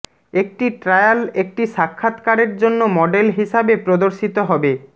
একটি ট্রায়াল একটি সাক্ষাত্কারের জন্য মডেল হিসাবে প্রদর্শিত হবে